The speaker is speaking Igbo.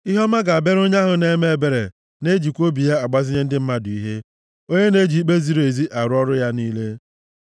Ihe ọma ga-abịara onye ahụ na-eme ebere na-ejikwa obi ya agbazinye ndị mmadụ ihe, onye na-eji ikpe ziri ezi arụ ọrụ ya niile.